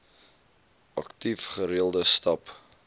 aktief gereelde stap